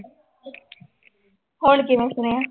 ਹੁਣ ਕਿਵੇਂ ਸੁਣਿਆ।